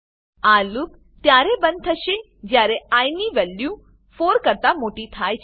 આ લૂપ ત્યારે બંધ થશે જ્યારે આઇ ની વેલ્યુ 4 કરતા મોટી થાય છે